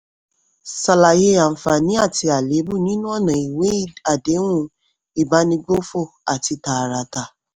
ṣàlàyé àǹfààní àti àléébù nínú ọ̀nà ìwé àdéhùn ìbánigbófò àti tààràtà.